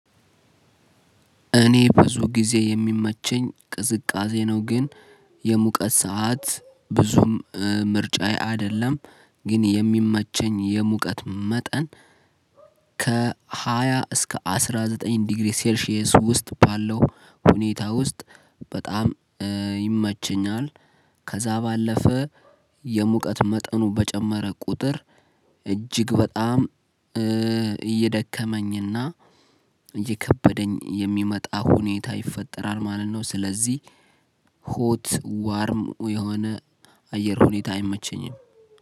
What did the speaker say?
እኔ ብዙ ጊዜ የሚመቸኝ ቅዝቃዜ ነው። ግን የሙቀት ሰዓት ብዙም ምርጫዬ አይደለም። ግን የሚመቸኝ የሙቀት መጠን ከሃያ እስከ አስራ ዘጠኝ ዲግሪ ሰልሺየስ ውስጥ ባለው ሁኔታ ውስጥ በጣም ይመቸኛል። ከዛ ባለፈ የሙቀት መጠኑ በጨመረ ቁጥር እጅግ በጣም እየደከመኝና እየከበደኝ የሚመጣ ሁኔታ ይፈጠራል ማለት ነው። ስለዚህ ሆት ዋርም የሆነ አየር ሁኔታ አይመቸኝም።